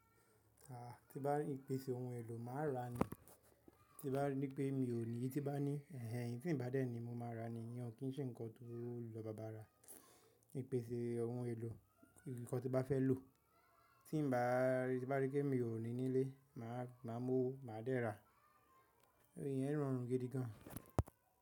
A, tí bá ri ìpèsè ohun èlò màá rà ni. Tí bá ní pé mi ò ní, tí bá ní ẹ̀hẹ̀ehn eyí tí ń bá dé ni mo máa rà ni. Ìyẹn ò kí ń ṣe nǹkan to lọ bá bàa rà. Ìpèsè ohun èlò, nǹkan tí bá fẹ́ lò, tí n bá rí pé mi ò ní nílé, màá mọ́ owo màá dé rà. Ìyẹn rọrùn gidi gan.